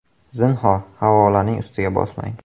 Zinhor, havolaning ustiga bosmang.